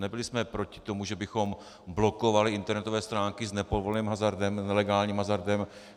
Nebyli jsme proti tomu, že bychom blokovali internetové stránky s nepovoleným hazardem, nelegálním hazardem.